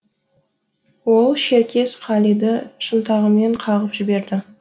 ол шеркес қалиды шынтағымен қағып жіберді